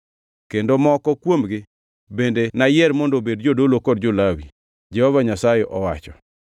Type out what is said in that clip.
Kendo moko kuomgi bende nayier mondo obed jodolo kod jo-Lawi,” Jehova Nyasaye owacho.